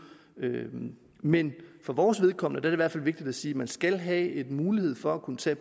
men for vores vedkommende er det i hvert fald vigtigt at sige at man skal have en mulighed for at kunne tage